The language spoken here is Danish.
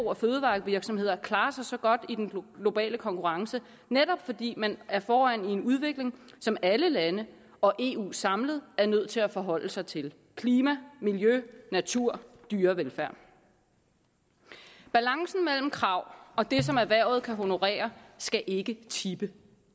og fødevarevirksomheder klarer sig så godt i den globale konkurrence netop fordi man er foran i en udvikling som alle lande og eu samlet er nødt til at forholde sig til klima miljø natur og dyrevelfærd balancen mellem krav og det som erhvervet kan honorere skal ikke tippe